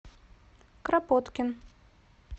кропоткин